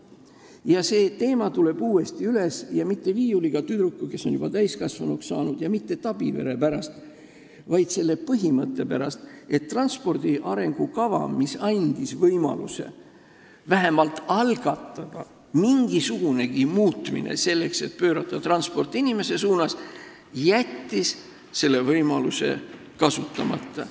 Ja see teema tuleb uuesti üles, ja mitte viiuliga tüdruku pärast, kes on varsti juba täiskasvanuks saanud, ja mitte Tabivere pärast, vaid selle pärast, et transpordi arengukava, mis andis võimaluse vähemalt algatada mingisugunegi muutus, et pöörata transport inimese suunas, on jätnud selle võimaluse kasutamata.